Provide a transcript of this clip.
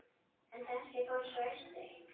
En þessi fór svo austur.